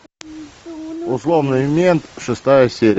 условный мент шестая серия